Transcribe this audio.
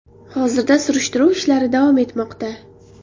Hozirda surishtiruv ishlari davom etmoqda.